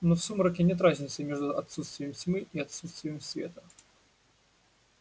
но в сумраке нет разницы между отсутствием тьмы и отсутствием света